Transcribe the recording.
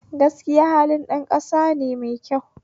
Gaskiya halin ɗan ƙasane mai kyau